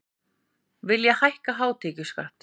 Vilja hækka hátekjuskatt